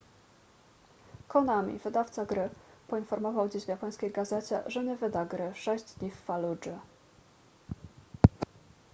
konami wydawca gry poinformował dziś w japońskiej gazecie że nie wyda gry sześć dni w faludży